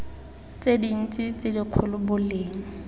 tse dintsi tse dikgolo boleng